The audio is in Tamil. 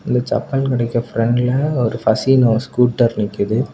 இந்த சப்பல் கடைக்கு பிராண்ட்ல ஒரு பாசினோ ஸ்க்கூட்டர் நிக்குது.